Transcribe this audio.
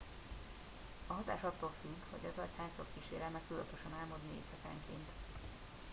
a hatás attól függ hogy az agy hányszor kísérel meg tudatosan álmodni éjszakánként